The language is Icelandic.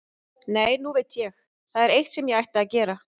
Nei, nú veit ég, það er eitt sem ég ætti að gera.